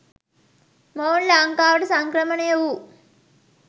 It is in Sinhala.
මොවුන් ලංකාවට සංක්‍රමණය වූ